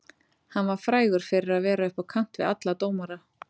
Hann var frægur fyrir að vera upp á kant við alla dómara.